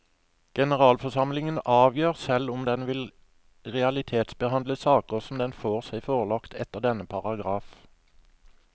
Generalforsamlingen avgjør selv om den vil realitetsbehandle saker som den får seg forelagt etter denne paragraf.